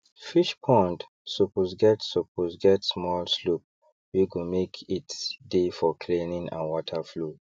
fish pond suppose get suppose get small slope wey go make it dey for cleaning and water flow